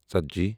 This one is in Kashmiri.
ژتجی